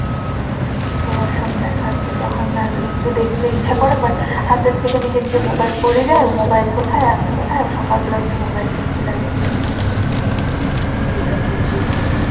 তো সব দেখার তো না লিখতে দেখতে ইচ্ছে করে but হাতের থেকে নিজের যে mobile পড়ে যায় mobile কোথায় আমি কোথায় সকালবেলা উঠে mobile খুজতে লাগে।